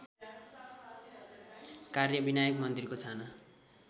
कार्यविनायक मन्दिरको छाना